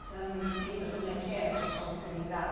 A senhora me explica como é que é cortar o seringal?